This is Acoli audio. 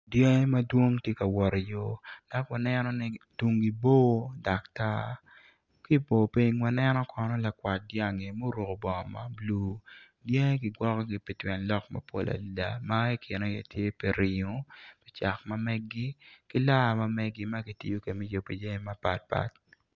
Dyangi madwong tye ka wot iyo dok waneno ni tungi bor dok tar ki i bor piny wano lakwat dyangi ma oruko bongo mabulu dyangi kigwokogi piringo cak ma megi ki laar ma kitiyo kwede me yubo jami mapatpat.